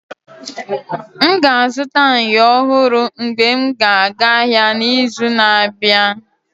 M ga-azụta myo ọhụrụ mgbe m ga aga ahịa n'izu na-abịa.